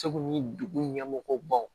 Segu ni dugu ɲɛmɔgɔw baw